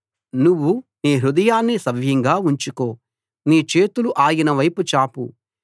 నువ్వు నీ హృదయాన్ని సవ్యంగా ఉంచుకో నీ చేతులు ఆయన వైపు చాపు